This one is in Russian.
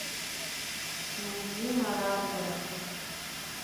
найди маррадера